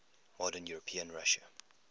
modern european russia